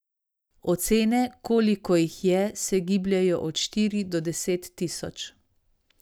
Ocene, koliko jih je, se gibljejo od štiri do deset tisoč.